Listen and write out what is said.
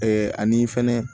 ani fɛnɛ